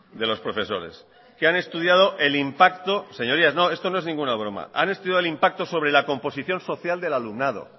de los profesores que son muy complicados de leer señorías esto no es ninguna broma que han estudiado el impacto sobre la composición social del alumnado